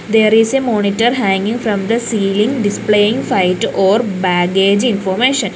there is a monitor hainging from the ceiling displaying flight or baggage information.